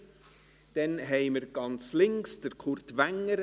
Zum andern haben wir ganz links Kurt Wenger;